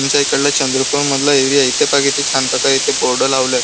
आमच्या इकडला चंद्रपूर मधला एरिया इथ पहा किती छान प्रकारे इथ बोर्ड लावलाय.